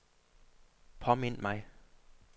påmind mig